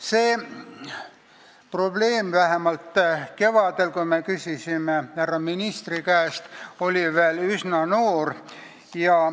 See probleem oli vähemalt kevadel, kui me selle kohta härra ministri käest küsisime, veel üsna noor.